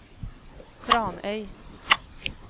Tranøy